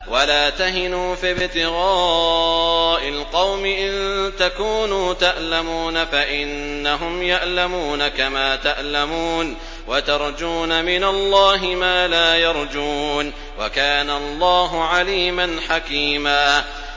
وَلَا تَهِنُوا فِي ابْتِغَاءِ الْقَوْمِ ۖ إِن تَكُونُوا تَأْلَمُونَ فَإِنَّهُمْ يَأْلَمُونَ كَمَا تَأْلَمُونَ ۖ وَتَرْجُونَ مِنَ اللَّهِ مَا لَا يَرْجُونَ ۗ وَكَانَ اللَّهُ عَلِيمًا حَكِيمًا